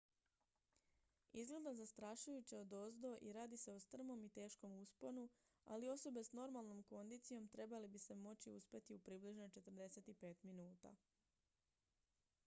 izgleda zastrašujuće odozdo i radi se o strmom i teškom usponu ali osobe s normalnom kondicijom trebale bi se moći uspeti u približno 45 minuta